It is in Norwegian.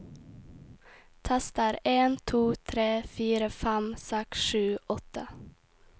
Tester en to tre fire fem seks sju åtte